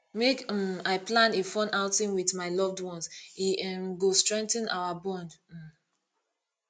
make um i plan a fun outing with my loved one e um go strengthen our bond um